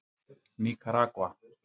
Níkaragva